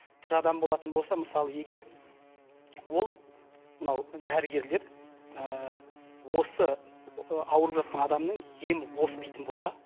тірі адам болатын болса мысалы егер ол мынау дәрігерлер осы ауырып жатқан адамның емі осы дейтін болса